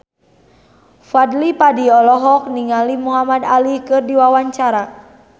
Fadly Padi olohok ningali Muhamad Ali keur diwawancara